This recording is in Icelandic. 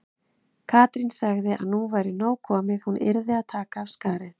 Katrín sagði að nú væri nóg komið, hún yrði að taka af skarið.